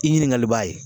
I ɲininkali b'a ye